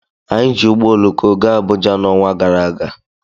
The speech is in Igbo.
Anyị ji ụgbọ oloko gaa Abụja n' ọnwa gara aga